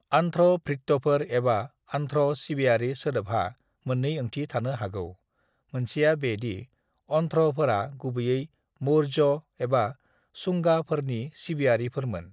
"आन्ध्रभृत्यफोर एबा आन्ध्र' सिबियारि सोदोबहा मोन्नै ओंथि थानो हागौ, मोनसेया बे दि आन्ध्र'फोरा गुबैयै मौर्यों एबा शुंगाफोरनि सिबियारिफोरमोन।"